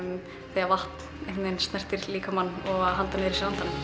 þegar vatn snertir líkamann og að halda niðri